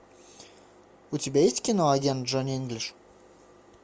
у тебя есть кино агент джонни инглиш